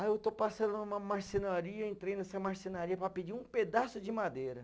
Aí eu estou passando uma marcenaria, entrei nessa marcenaria para pedir um pedaço de madeira.